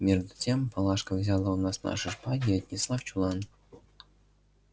между тем палашка взяла у нас наши шпаги и отнесла в чулан